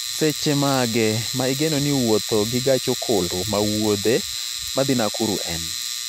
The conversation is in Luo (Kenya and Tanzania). Seche mage ma igeno ni wuotho gi gach okolo ma wuodhe ma dhi Nakuru en